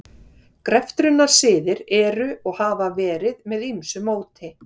Greftrunarsiðir eru og hafa verið með ýmsu móti.